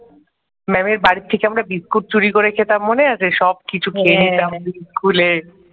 ম্যামের বাড়ি থেকে আমরা বিস্কুট চুরি করে খেতাম মনে আছে সব কিছু খেয়ে নিতাম খুলে ।